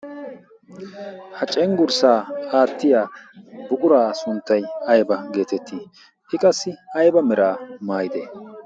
Ha cenggurssa aattiya buqura sunttay ayba getettii? I qassi ayba meraa maayidee?